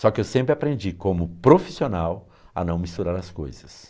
Só que eu sempre aprendi como profissional a não misturar as coisas.